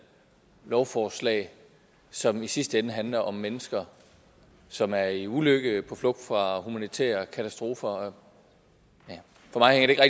lovforslag som i sidste ende handler om mennesker som er i ulykke på flugt fra humanitære katastrofer for mig hænger